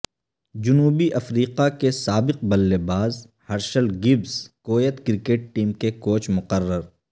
جنوبی افریقہ کے سابق بلے باز Herschelle Gibbs Kuwait cricket team کے کوچ مقرر